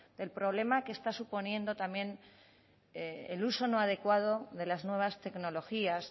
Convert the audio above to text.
del problema que está suponiendo también el uso no adecuado de las nuevas tecnologías